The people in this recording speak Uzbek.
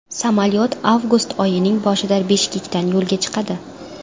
Samolyot avgust oyining boshida Bishkekdan yo‘lga chiqadi.